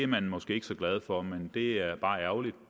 man måske ikke så glad for men det er bare ærgerligt